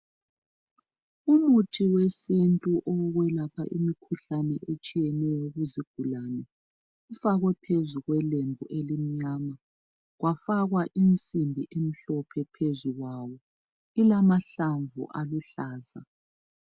Umuthi wesintu owokwelapha imikhuhlane etshiyeneyo kuzigulane ufakwe phezu kwelembu elimnyama, kwafakwa insimbi emhloohe ohezu kwawo, ilamahlamvu aluhlaza.